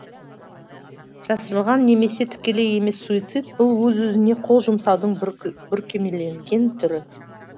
жасырылған немесе тікелей емес суицид бұл өз өзіне қол жұмсаудың бүркемеленген түрі